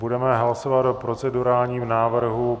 Budeme hlasovat o procedurálním návrhu.